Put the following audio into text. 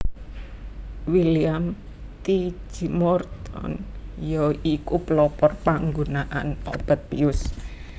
William T G Morton ya iku pelopor panggunaan obat bius